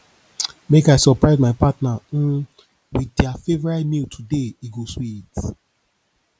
make i surprise my partner um with dia favorite meal today e go sweet